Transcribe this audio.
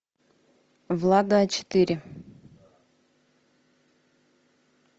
влада а четыре